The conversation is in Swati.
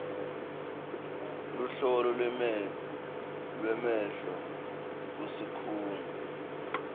luhlolo lwemehlo kusikhungo